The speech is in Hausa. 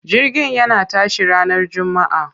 Jirgin yana tashi ranar jummaa.